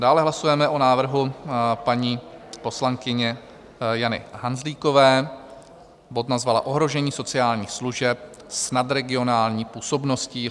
Dále hlasujeme o návrhu paní poslankyně Jany Hanzlíkové, bod nazvala Ohrožení sociálních služeb s nadregionální působností.